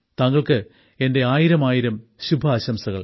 താങ്കൾക്ക് എന്റെ ആയിരമായിരം ശുഭാശംസകൾ